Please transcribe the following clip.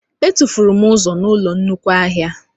Etufuru m ụzọ n'ụlọ nnukwu ahịa